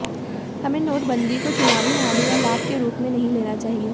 हमें नोटबंदी को चुनावी हानि और लाभ के रूप में नहीं लेना चाहिए